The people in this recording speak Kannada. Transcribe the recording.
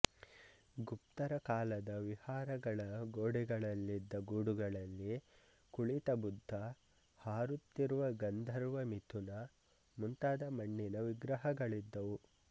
ಗುಪ್ತರ ಕಾಲದ ವಿಹಾರಗಳ ಗೋಡೆಗಳಲ್ಲಿದ್ದ ಗೂಡುಗಳಲ್ಲಿ ಕುಳಿತ ಬುದ್ಧ ಹಾರುತ್ತಿರುವ ಗಂಧರ್ವ ಮಿಥುನ ಮುಂತಾದ ಮಣ್ಣಿನ ವಿಗ್ರಹಗಳಿದ್ದುವು